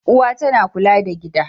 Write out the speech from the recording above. Uwa tana kula da gida.